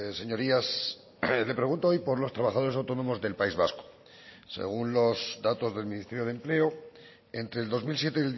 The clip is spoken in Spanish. señorías le pregunto hoy por los trabajadores autónomos del país vasco según los datos del ministerio de empleo entre el dos mil siete